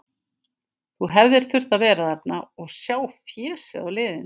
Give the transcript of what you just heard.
Þú hefðir þurft að vera þarna og sjá fésið á liðinu.